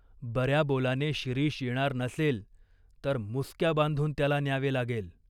बऱ्याबोलाने शिरीष येणार नसेल, तर मुसक्या बांधून त्याला न्यावे लागेल.